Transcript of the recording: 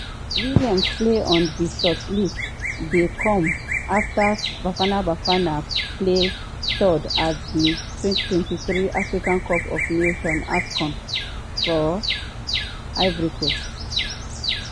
williams place on di shortlist dey come afta bafana bafana place third at di 2023 africa cup of nations (afcon) for ivory coast.